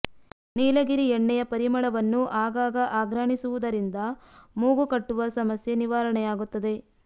ನೀಲಗಿರಿ ಎಣ್ಣೆಯ ಪರಿಮಳವನ್ನು ಆಗಾಗ ಆಘ್ರಾಣಿಸುವುದರಿಂದ ಮೂಗು ಕಟ್ಟುವ ಸಮಸ್ಯ ನಿವಾರಣೆಯಾಗುತ್ತದೆ